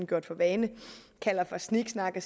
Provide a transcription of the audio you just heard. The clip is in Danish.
gjort for vane kalder for sniksnak og